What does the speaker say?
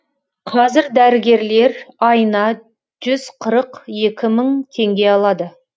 қазір дәрігерлер айына жүз қырық екі мың теңге алады